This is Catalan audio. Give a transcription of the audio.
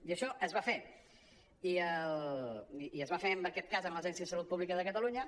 i això es va fer i es va fer en aquest cas amb l’agència de salut pública de catalunya